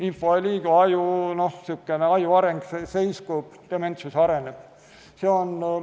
Info ei liigu, aju areng seiskub, dementsus areneb.